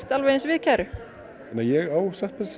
alveg eins við kæru ég á satt best